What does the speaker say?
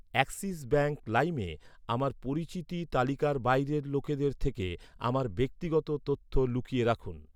Axis bank লাইমে আমার পরিচিতি তালিকার বাইরের লোকদের থেকে আমার ব্যক্তিগত তথ্য লুকিয়ে রাখুন।